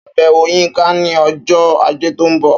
Ṣàbẹ̀wò Yínká ní ọjọ́ Ajé tó ń bọ̀